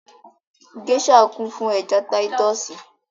Gèésà kún fún ẹja táyítọ́sì